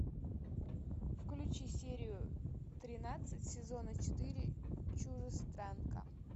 включи серию тринадцать сезона четыре чужестранка